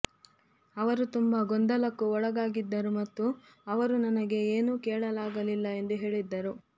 ಅವರು ತುಂಬಾ ಗೊಂದಲಕ್ಕೊಳಗಾಗಿದ್ದರು ಮತ್ತು ಅವರು ನನಗೆ ಏನೂ ಕೇಳಲಾಗಲಿಲ್ಲ ಎಂದು ಹೇಳಿದ್ದರು